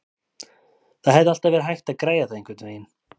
Það hefði alltaf verið hægt að græja það einhvernveginn.